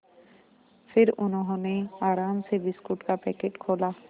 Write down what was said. फिर उन्होंने आराम से बिस्कुट का पैकेट खोला